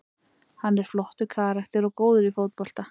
Hann er flottur karakter og góður í fótbolta.